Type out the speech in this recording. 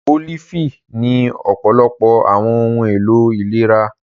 Olifi ni ọpọlọpọ awọn ohun elo ilera.